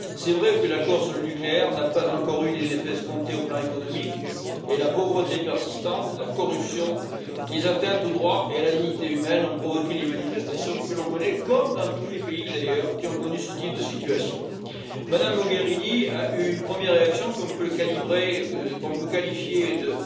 C'est vrai que l'accord sur le nucléaire n'a pas encore eu les effets escomptés sur le plan économique, et la pauvreté persistante, la corruption, les atteintes au droit et à la dignité humaine ont provoqué les manifestations que l'on connaît, comme dans tous les pays, d'ailleurs, qui ont connu ce type de situation. Mme Mogherini a eu une première réaction qu'on peut qualifier de